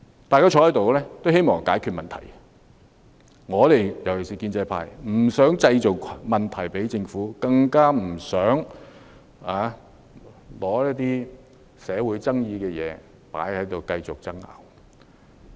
大家坐在議事堂內，都希望解決問題，尤其是建制派不想為政府製造問題，更不想繼續爭拗一些社會有爭議的議題。